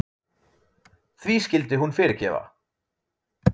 Því skyldi hún fyrirgefa?